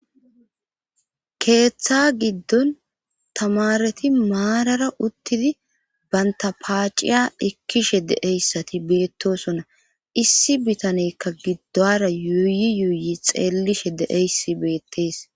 Keeththa giddon tamareti maarara uttidi banta paaciya ekkishe deeyssati beettosona issi bitanekka giddora yuuyi yuuyi xeellishe deeyssi beettees.